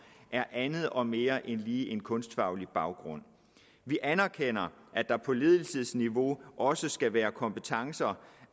er andet og mere end lige en kunstfaglig baggrund vi anerkender at der på ledelsesniveau også skal være kompetencer